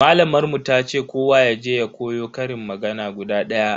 Malamar mu tace kowa yaje ya koyo ƙarin magana guda daya.